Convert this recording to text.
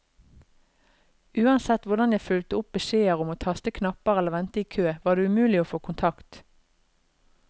Uansett hvordan jeg fulgte opp beskjeder om å taste knapper eller vente i kø, var det umulig å få kontakt.